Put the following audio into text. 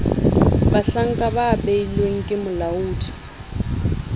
bahlanka ba beilweng ke molaodi